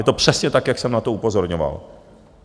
Je to přesně tak, jak jsem na to upozorňoval.